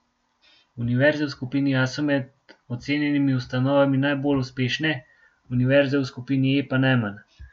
Univerze v skupini A so med ocenjenimi ustanovami najbolj uspešne, univerze v skupini E pa najmanj.